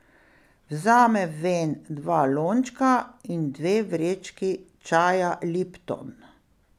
Vzame ven dva lončka in dve vrečki čaja Lipton.